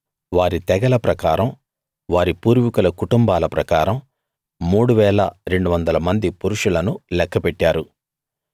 వారి తెగల ప్రకారం వారి పూర్వీకుల కుటుంబాల ప్రకారం 3 200 మంది పురుషులను లెక్కపెట్టారు